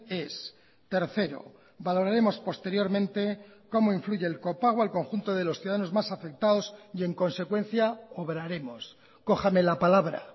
ez tercero valoraremos posteriormente cómo influye el copago al conjunto de los ciudadanos más afectados y en consecuencia obraremos cójame la palabra